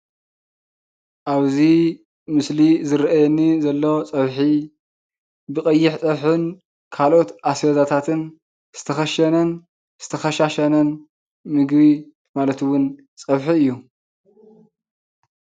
ኣብዚ ምስሊ ዝረአየኒ ዘሎ ፀብሒ ብቐይሕ ፀብሕን ካልኦት ኣስቤዛታትን ዝተኸሸነን ዝተኸሻሸነን ምግቢ ማለት እውን ፀብሒ እዩ፡፡